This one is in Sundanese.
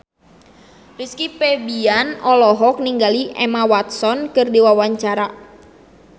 Rizky Febian olohok ningali Emma Watson keur diwawancara